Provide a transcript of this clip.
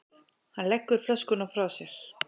Hann leggur flöskuna frá sér.